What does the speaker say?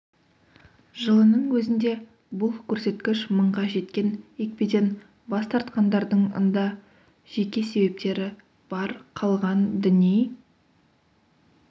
жылының өзінде бұл көрсеткіш мыңға жеткен екпеден бас тартқандардың ында жеке себептері бар қалған діни